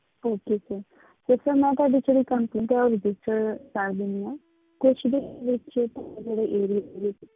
Okay sir ਤੇ sir ਮੈਂ ਤੁਹਾਡੀ ਜਿਹੜੀ complaint ਹੈ ਉਹ register ਕਰ ਲਈ ਹੈ ਕੁਛ ਦਿਨਾਂ ਵਿੱਚ ਤੁਹਾਡੇ ਜਿਹੜੇ area ਦੇ ਵਿੱਚ